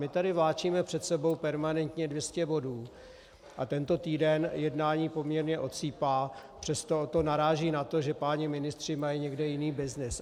My tady vláčíme před sebou permanentně 200 bodů a tento týden jednání poměrně odsýpá, přesto to naráží na to, že páni ministři mají někde jiný byznys.